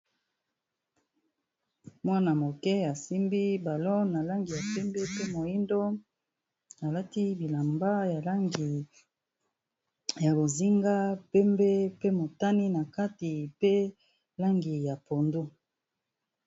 Mwana moke asimbi balon na langi ya pembe pe moyindo alati bilamba ya langi ya bozinga pembe pe motane na kati pe langi ya pondu.